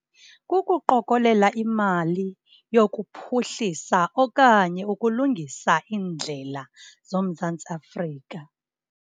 Kukuqokolela imali yokuphuhlisa okanye ukulungisa iindlela zoMzantsi Afrika.